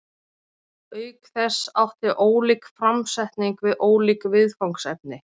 auk þess átti ólík framsetning við ólík viðfangsefni